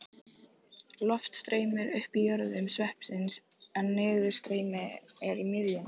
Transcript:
Loft streymir upp í jöðrum sveipsins en niðurstreymi er í miðjunni.